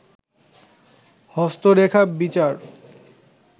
হস্তরেখা বিচার